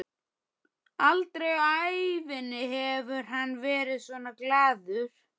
Aldrei á ævinni hefur hann verið svona glaður.